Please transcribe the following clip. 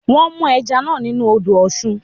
Wọ́n mú ẹja náà nínú u odò Ọ̀sun